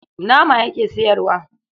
Nama yake sayarwa.